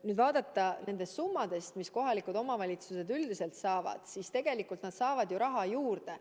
kui vaadata neid summasid, mida kohalikud omavalitsused üldiselt saavad, siis tegelikult nad saavad raha juurde.